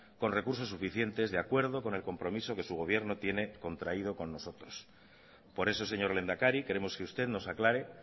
con recursos suficientes de acuerdo con el compromiso que su gobierno tiene contraído con nosotros por eso señor lehendakari queremos que usted nos aclare